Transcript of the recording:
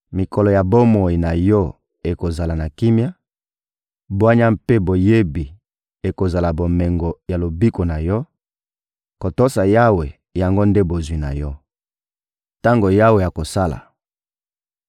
Mikolo ya bomoi na yo ekozala na kimia; bwanya mpe boyebi ekozala bomengo ya lobiko na yo; kotosa Yawe, yango nde bozwi na yo. Tango Yawe akosala